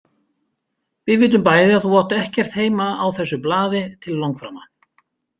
Við vitum bæði að þú átt ekkert heima á þessu blaði til langframa.